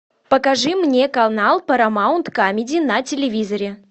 покажи мне канал парамаунт камеди на телевизоре